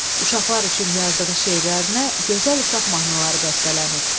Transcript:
Uşaqlar üçün yazdığı şeirlərinə Gözəl uşaq mahnıları bəstələnib.